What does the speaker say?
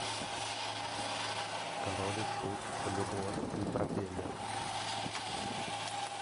король и шут любовь и пропеллер